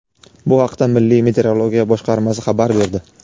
Bu haqda milliy meteorologiya boshqarmasi xabar berdi.